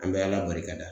An bɛ ala barikada